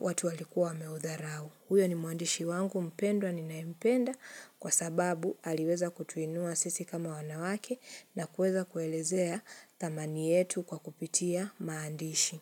watu walikuwa wameudharau huyo ni mwandishi wangu mpendwa ninayempenda kwa sababu aliweza kutuinua sisi kama wanawake na kueza kuelezea thamani yetu kwa kupitia maandishi.